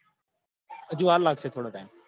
હજુ વાર લાગશે થોડો time